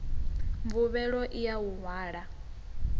mvuvhelo i ya u hwala